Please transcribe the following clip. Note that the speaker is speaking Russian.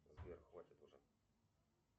сбер хватит уже